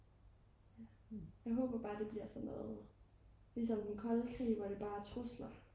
jeg håber bare det bliver sådan noget ligesom den kolde krig hvor det bare er trusler